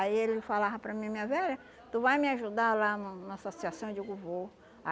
Aí ele falava para mim, minha velha, tu vai me ajudar lá no na associação? Eu digo, vou